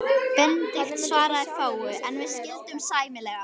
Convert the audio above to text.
Benedikt svaraði fáu, en við skildum sæmilega.